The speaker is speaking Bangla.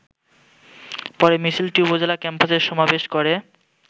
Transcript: পরে মিছিলটি উপজেলা ক্যাম্পাসে সমাবেশ করে।